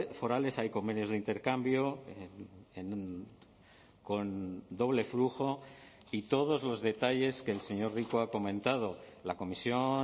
forales hay convenios de intercambio con doble flujo y todos los detalles que el señor rico ha comentado la comisión